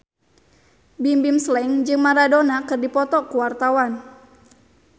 Bimbim Slank jeung Maradona keur dipoto ku wartawan